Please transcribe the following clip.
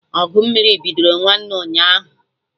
Ọgụ mmiri bidoro nwanne ụnyaahụ